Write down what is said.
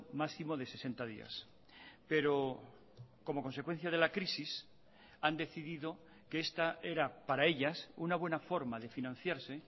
máximo de sesenta días pero como consecuencia de la crisis han decidido que esta era para ellas una buena forma de financiarse